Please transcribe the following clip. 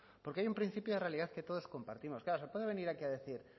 porque hay un principio de realidad que todos compartimos claro se puede venir aquí a decir